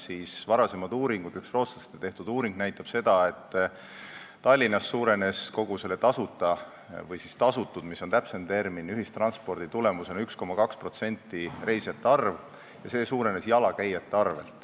Üks varasem rootslaste tehtud uuring näitab, et Tallinnas suurenes kogu selle tasuta – või tasutud, mis on täpsem termin – ühistranspordi tulemusena reisijate arv 1,2% ja see suurenes jalakäijate arvel.